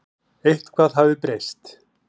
Eitthvað hafði breyst.